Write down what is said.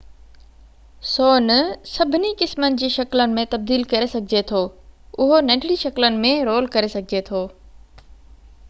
سون سڀني قسمن جي شڪلن ۾ تبديل ڪري سگهجي ٿو اهو ننڍڙي شڪلن ۾ رول ڪري سگهجي ٿو